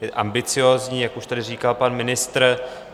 Je ambiciózní, jak už tady říkal pan ministr.